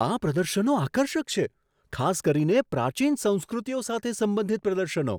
આ પ્રદર્શનો આકર્ષક છે, ખાસ કરીને પ્રાચીન સંસ્કૃતિઓ સાથે સંબંધિત પ્રદર્શનો.